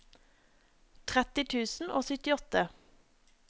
tretti tusen og syttiåtte